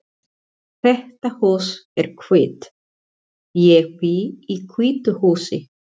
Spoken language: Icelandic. Þetta hús er hvítt. Ég bý í hvítu húsi.